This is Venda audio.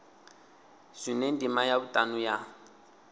zwine ndima ya vhutanu ya